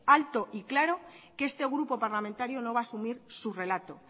alto y claro que este grupo parlamentario no va a asumir su relato